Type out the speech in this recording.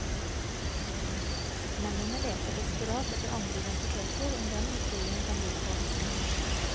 Mennene leter desperat etter andre identiteter enn dem historien kan by på.